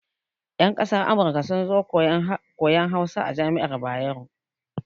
Yan kasar Amurka sun zo koyan Hausa a jami'ar Bayero.